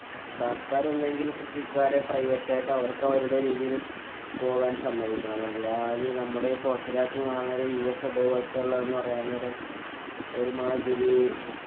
സര്‍ക്കാര്‍ ഒന്നുകില്‍ കൃഷിക്കാരെ private ആയിട്ട് അവര്‍ക്ക് അവരുടെ രീതിയില്‍ പോവാന്‍ സമ്മതിക്കണം. അല്ലാതെ ഈ നമ്മുടെ ഈ പൊറത്തെ രാത്തിന്നു കാണ്ന്നാമാതിരി US അതെപോല്‍ത്തുള്ളന്നു പറയാന്‍ നേരം ഒരുമാതിരി~